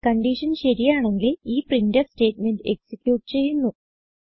condition ശരിയാണെങ്കിൽ ഈ printf statement execute ചെയ്യുന്നു